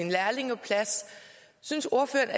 synes ordføreren